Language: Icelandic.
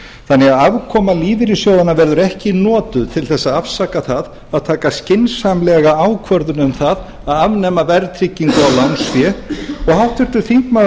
þannig að afkoma lífeyrissjóðanna verður ekki notuð til þess að afsaka það að taka skynsamlega ákvörðun um það að afnema verðtryggingu á lánsfé háttvirtur þingmaður